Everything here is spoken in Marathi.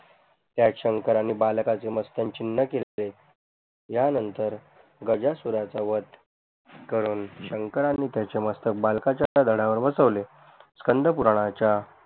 त्यात शंकराने बालकाचे मस्तक छिन्न केले या नंतर गजासुरचा वध करून शंकराने त्याचे मस्तक बालकच्या धडा वर बसवले स्कंदपूरणाच्या